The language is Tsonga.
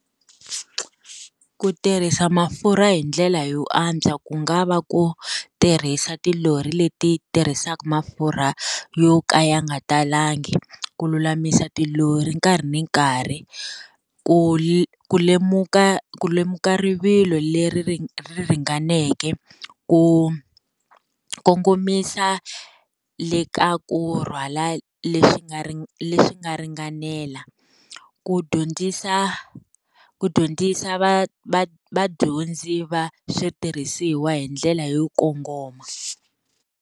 Ku tirhisa mafurha hi ndlela yo antswa, ku nga va ku tirhisa tilori leti tirhisaka mafurha yo ka ya nga talangi, ku lulamisa tilori nkarhi ni nkarhi, ku ku lemuka ku lemuka rivilo leri ri ringaneke, ku kongomisa le ka ku rhwala leswi nga leswi nga ringanela, ku dyondzisa ku dyondzisa va va vadyondzi va switirhisiwa hi ndlela yo kongoma.